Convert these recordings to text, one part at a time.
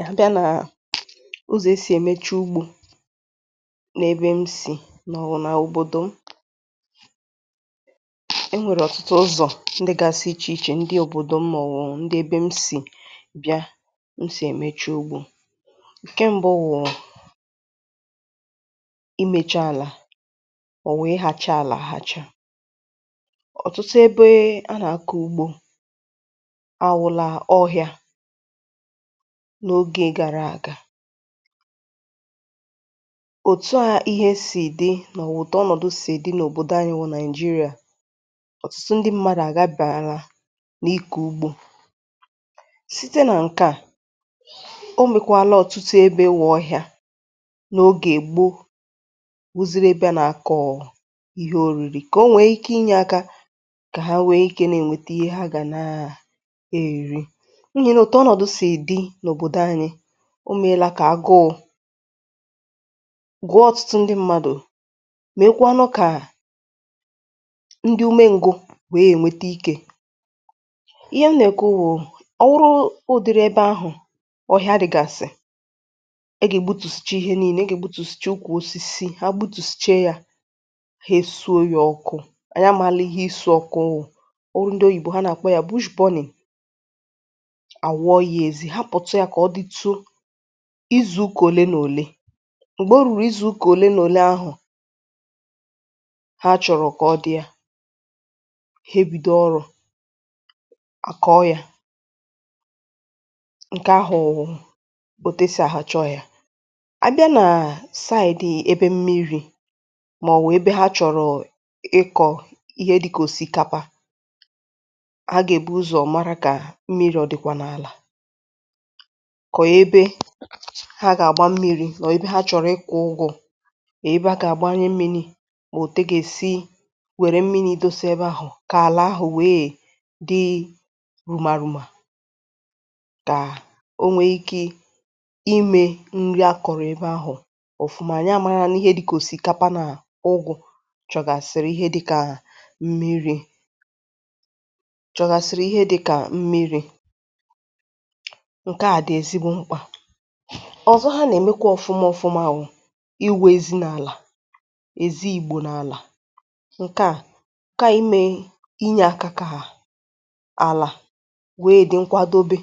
Ya bịa nà ụzọ̀ e sì èmecha ugbȯ n’ebe m sì mà ọ wụ̀ nà òbòdò m, ẹ nwẹ̀rẹ̀ ọ̀tụtụ ụzọ̀ ndị gasị̇ ichè ichè ndị òbòdò m nà ọ wụ̀ ndị ebė m sì bịa m sì èmecha ugbȯ, ǹkẹ mbụ wụ̀, imėcha àlà mà ọ̀ wụ̀ ịha cha àlà aha cha, ọ̀tụtụ ebe a nà-àka ugbȯ anwụ̇là ọhịȧ, na ógè gàrà aga, òtu à ihe sì dị nà ọ̀tụ ọnọ̀dụ sì dị n’òbòdò anyị bú nàịjirịa ọ̀tụtụ ndị mmadụ̀ àgabị̀àlà nà ịkọ̀ ugbȯ, site nà ǹkè a o mèkwàla ọ̀tụtụ ebe wụ̇ ọhịȧ n’ogè gbo, wụziri ebėȧ nà-akọ̀ọ̀ ihe òriri kà o nwee ike inye ȧkȧ kà ha nwee ike nà-ènwète ihe ha gà na-èri, ịma nà ọ̀tụ ọnọdụ si dị nà obodo anyi omela kà agụụ, gụọ ọ̀tụtụ ndi mmadụ̀, mekwaa ńu kà ndi ume ǹgwụ wèe ènweta ike, ihe m nà èkwu wụ̀ ọrụ ụdịrị ebe ahụ̀ ọ̀hịa dị̀gàsị, e gà-ègbutusicha ihe nii̇le egbutusicha ukwù osisi ha gbutusicha yȧ ha esu ya ọkụ ànyi amàli ihe isu ọku wú, oburu ndi oyìbo ha nà-àkpọ ya bush burning, àwọ yȧ ezi haputu ya ka ọditu izu̇ uka òle nà òle, m̀gbè o rùrù izu̇ kà òle nà òle ahù, ha chọ̀rọ̀ kà ọ dị̀ a, ha ebido ọrụ̇, àkọọ yȧ, ǹkè ahụ̀ bụ̀ etu esi àhacha ọhịa, a bịa nà saị̀dị̀ ebe mmiri̇ mà ọ̀ wụ̀ ebe ha chọ̀rọ̀ ịkọ̀ ihe dị̇ kà òsìkapa, ha gà-èbu ụzọ̀ mara kà mmiri̇ ọ̀ dị̀kwà n’àlà, kà ọ ébé ha gà-àgba mmi̇ri̇ nọọ̀ ebe ha chọ̀rọ̀ ịkọ ụgụ̇ èbe a kà-àgbanye mmiri̇ ma otu agà-èsi wère mmiri̇ dosa ebe ahụ̀ kà àla ahụ̀ wee dị rùma rùma, kà o nwe ikė imė nri a kọ̀rọ̀ ebe ahụ̀ ọ̀fụma anyị amara ihe dị̇ ka òsìkapa na ụgụ̇ chọ̀gàsị̀rị̀ ihe dịkà mmiri̇, chọ̀gàsị̀rị̀ ihe dịkà mmiri̇, nkea dị ezigbo mkpa, ọ̀zọ ha nà-èmekwa ọ̀fụma ọ̀fụma wụ iwe ezi n’àlà èzi igbò n’àlà ǹkè a ǹkè a ime inye akȧ kȧ àlà wee dị nkwadobe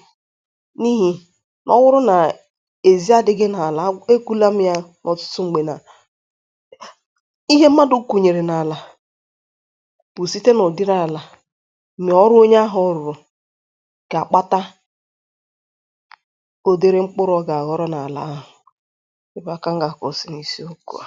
n’ihì ọ wụrụ nà ezi adị̇ghị n’àlà e kụla m ya n’ọ̀tụtụ m̀gbè nà, ihe mmadụ̇ kùnyèrè n’àlà bụ̀ site nà ụ̀dịrị àlà mà ọrụ onye ahụ̇ rụrụ gà àkpata, ụdịrị mkpụrụ oga ahọrọ n'ala ahụ, ébé á ka m ga akwusi na isi okwu a.